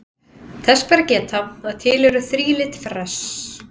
Þess ber að geta að til eru þrílit fress.